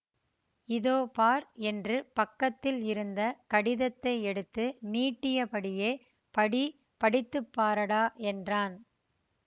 இதோ பார் என்று பக்கத்தில் இருந்த கடிதத்தை எடுத்து நீட்டியபடியே படி படித்து பாரடா என்றான்